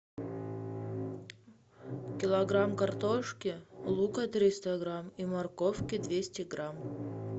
килограмм картошки лука триста грамм и морковки двести грамм